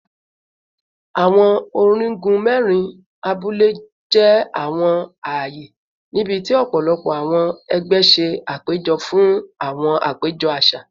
Awọn onigun mẹrin abule jẹ awọn aaye nibiti ọpọlọpọ awọn ẹgbẹ ṣe apejọ fun awọn apejọ aṣa